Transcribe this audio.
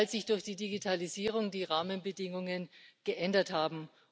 Weil sich durch die Digitalisierung die Rahmenbedingungen geändert haben.